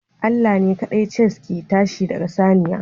Allah ne kaɗai Chase ke tashi daga saniya